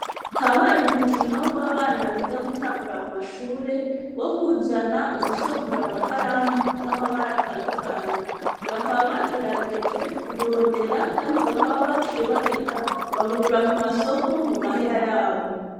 habaye umukino w'abana biga gutangura mu mashure wo kuzana w'udusongora amakaramu z'amabara atandukanye bakaba bagerageje kuburondera kandi bakaba baciye babugura ku masoko mu mahera yabo.